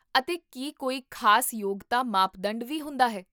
ਅਤੇ ਕੀ ਕੋਈ ਖ਼ਾਸ ਯੋਗਤਾ ਮਾਪਦੰਡ ਵੀ ਹੁੰਦਾ ਹੈ?